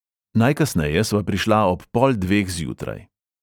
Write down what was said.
Najkasneje sva prišla ob pol dveh zjutraj.